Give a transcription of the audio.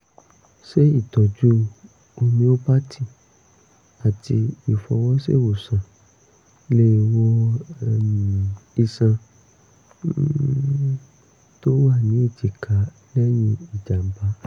ṣé ìtọ́jú homeopathy àti ìfọwọ́ṣèwòsàn lè wo um iṣan um tó wà ní èjìká lẹ́yìn ìjàm̀bá?